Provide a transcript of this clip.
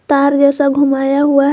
तार जैसा घुमाया हुआ है।